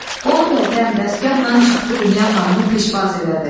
Bolu bəy dəmdəstgahla çıxdı Dünya xanımı pişvaz elədi.